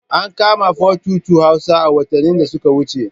An kama 422 Hausa a watannin da suka wuce.